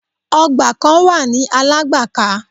Ọgbà kan wà ní Alágbàká.